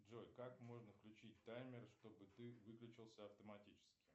джой как можно включить таймер чтобы ты выключился автоматически